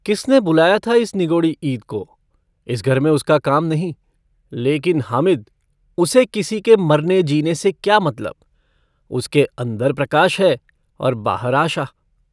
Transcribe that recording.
किसने बुलाया था इस निगोड़ी ईद को इस घर में उसका काम नहीं लेकिन हामिद उसे किसी के मरनेजीने से क्या मतलब उसके अंदर प्रकाश है बाहर आशा।